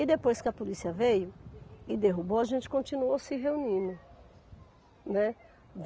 E depois que a polícia veio e derrubou, a gente continuou se reunindo, né.